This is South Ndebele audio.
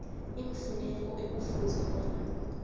iimfuneko ekufuze bona